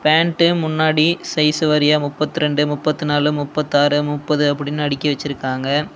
Pant முன்னாடி size வாரியா முப்பத்தி ரெண்டு முப்பத்தி நாலு முப்பத்தாறு முப்பது அப்டின்னு அடுக்கி வெச்சுருக்காங்க.